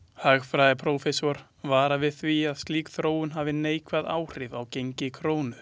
Hagfræðiprófessor varar við því að slík þróun hafi neikvæð áhrif á gengi krónu.